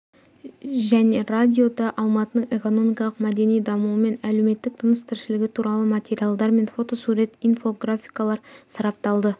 және радиода алматының экономикалық мәдени дамуы мен әлеуметтік тыныс-тіршілігі туралы материалдар мен фотосурет инфо-графикалар сарапталды